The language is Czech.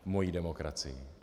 Mojí demokracii.